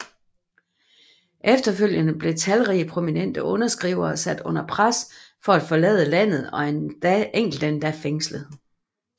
Efterfølgende blev talrige prominente underskrivere sat under pres for at forlade landet og enkelte endda fængslet